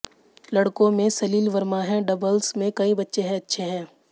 लड़कों में सलिल वर्मा है डबल्स में कई बच्चे अच्छे हैं